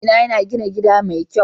Mijina yana gina gida mai kyau.